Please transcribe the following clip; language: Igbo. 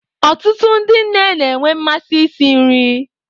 Ọtụtụ ndi nne na-enwe mmasị isi nri.